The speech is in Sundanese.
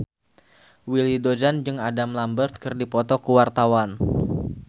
Willy Dozan jeung Adam Lambert keur dipoto ku wartawan